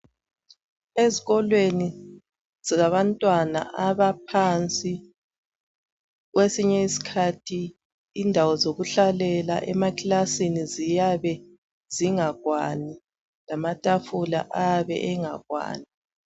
Ezikolweni zabantwana abaphansi kwesinye isikhathi indawo zokuhlalela emakilasini siyabe zingakwani lamatafula ayabe engakwani